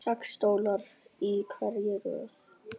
Sex stólar í hverri röð.